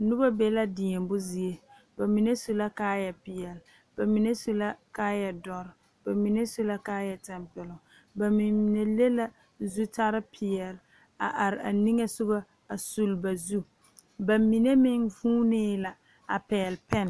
Noba be la deɛmbo zie, ba mine su la kaayɛ pɛɛle ba mine la kaayɛ doɔre ba mine. su la kaayɛ tampɛloŋ, ba mine leŋ la zutarre pɛɛle a are niŋɛ soga a sul ba zu baa mine meŋ vuune la a pegeli pɛn.